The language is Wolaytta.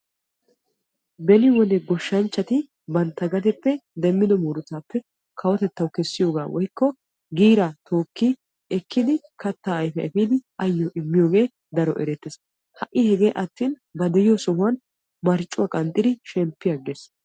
Beni wode goshshanchchatti bantta gadeppe demiddobba muruttappe giira kawotettassi immees ha'i hegee attin ba de'iyo heeran marccuwa qanxxiddi shemppi agees.